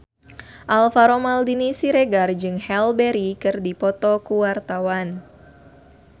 Alvaro Maldini Siregar jeung Halle Berry keur dipoto ku wartawan